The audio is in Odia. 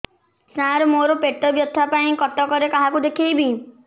ସାର ମୋ ର ପେଟ ବ୍ୟଥା ପାଇଁ କଟକରେ କାହାକୁ ଦେଖେଇବି